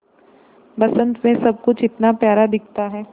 बसंत मे सब कुछ इतना प्यारा दिखता है